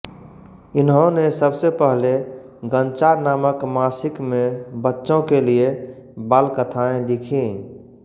इन्होने सबसे पहले गंचा नामक मासिक में बच्चो के लिय बालकथाएँ लिखीं